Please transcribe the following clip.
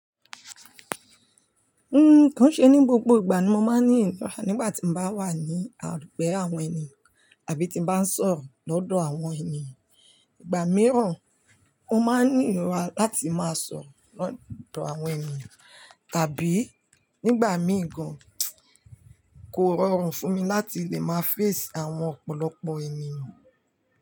Nko se ni gbogbo ìgbà ni mo máa ní ìrora nígbà tí mo bá wà ní àdúgbò àwọn ènìyàn àbí tí mo bá ń sọ̀rọ̀ lọ́dọ̀ àwọn ènìyàn. Ìgbà mìíràn, ó máa ń ní ìrora láti máa sọ̀rọ̀ lọ́dọ̀ àwọn ènìyàn. Tàbí nígbà mí ì gan, kò rọrùn fún mi láti lè máa face àwọn ọ̀pọ̀lọpọ̀ ènìyàn.